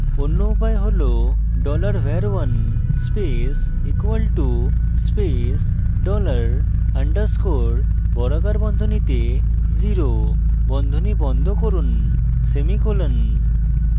অন্য উপায় হল; $var1 space = space dollar $ underscore বর্গাকার বন্ধনীতে 0 বন্ধনী বন্ধ করুন semicolon